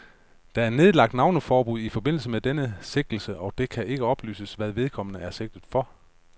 Der er nedlagt navneforbud i forbindelse med denne sigtelse, og det kan ikke oplyses, hvad vedkommende er sigtet for.